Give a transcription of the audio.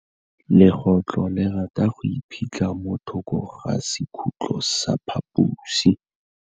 Legôtlô le rata go iphitlha mo thokô ga sekhutlo sa phaposi.